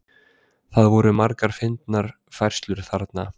Það voru margar fyndnar færslur þarna.